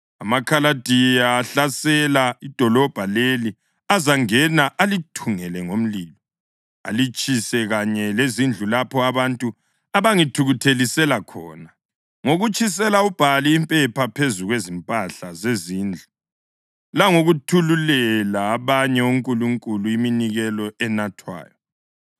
AmaKhaladiya ahlasela idolobho leli azangena alithungele ngomlilo; alitshise, kanye lezindlu lapho abantu abangithukuthelisela khona ngokutshisela uBhali impepha phezu kwezimpahla zezindlu langokuthululela abanye onkulunkulu iminikelo enathwayo.